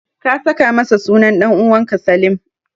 Ka saka masa sunan ɗan'uwanka Salim.